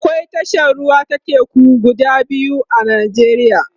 akwai tashar ruwa ta teku guda shida a nijeriya